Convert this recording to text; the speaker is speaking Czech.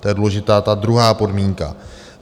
To je důležitá, ta druhá podmínka.